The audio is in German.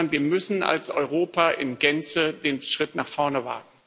Wir müssen als Europa in Gänze den Schritt nach vorne wagen.